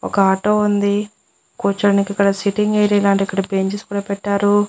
ఒక ఆటో ఉంది కూర్చొనికి ఇక్కడ సిట్టింగ్ ఏరియా లాంటిది ఇక్కడ బెచెస్ కూడా పెట్టారు.